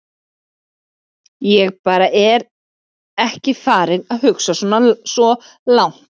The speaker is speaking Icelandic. Ég bara er ekki farinn að hugsa svo langt.